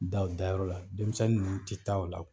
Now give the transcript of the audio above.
Da o dayɔrɔ la denmisɛnnin nunnu tɛ taa o la